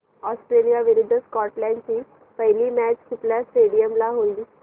Australia विरुद्ध Scotland ची पहिली मॅच कुठल्या स्टेडीयम ला होईल